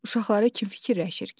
Uşaqları kim fikirləşir ki?